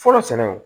Fɔlɔ sɛnɛ